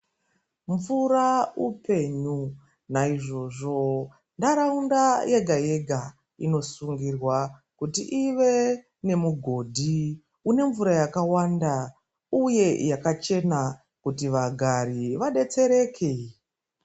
Mvura upenyu naizvozvo ndaraunda yega yega Inosungirwa kuti ive nemugodhi une mvura yakawanda uye yakachena kuti vagari vadetsereke.